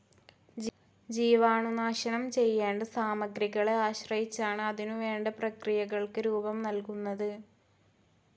ജീവാണുനാശനം ചെയ്യേണ്ട സാമഗ്രികളെ ആശ്രയിച്ചാണ് അതിനുവേണ്ട പ്രക്രിയകൾക്ക് രൂപം നൽകുന്നത്.